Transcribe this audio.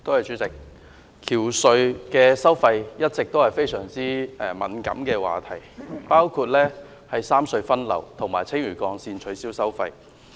主席，橋隧收費一直是非常敏感的話題，包括三隧分流和青嶼幹線取消收費。